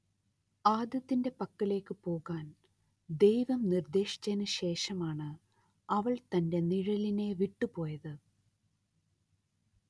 ആദത്തിന്റെ പക്കലേയ്ക്കു പോകാൻ ദൈവം നിർദ്ദേശിച്ചതിനു ശേഷമാണ്‌ അവൾ തന്റെ നിഴലിനെ വിട്ടുപോയത്